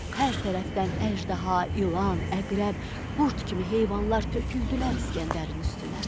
Hər tərəfdən əjdaha, ilan, əqrəb, qurd kimi heyvanlar töküldülər İsgəndərin üstünə.